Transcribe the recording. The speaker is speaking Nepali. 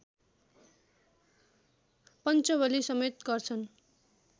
पञ्चबलिसमेत गर्छन्